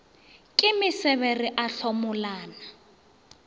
ke mesebe re a hlomolana